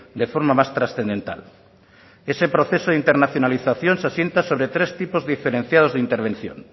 de forma más trascendental ese proceso de internacionalización se asienta sobre tres tipos diferenciados de intervención